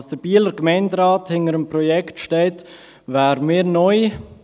Dass der Bieler Gemeinderat hinter diesem Projekt steht, wäre mir neu.